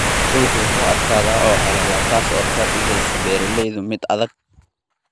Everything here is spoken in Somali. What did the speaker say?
Dhulku wuu adkaadaa oo qallalaa, taasoo ka dhigaysa beeraleyda mid adag.